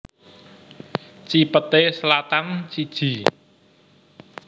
Cipete Selatan siji